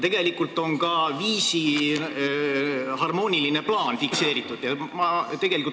Tegelikult on fikseeritud ka viisi harmooniline plaan.